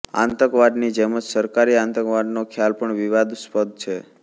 આતંકવાદની જેમ જ સરકારી આતંકવાદનો ખ્યાલ પણ વિવાદાસ્પદ છે